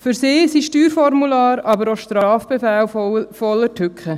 Für sie sind Steuerformulare, aber auch Strafbefehle voller Tücken.